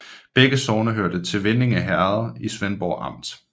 Begge sogne hørte til Vindinge Herred i Svendborg Amt